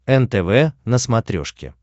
нтв на смотрешке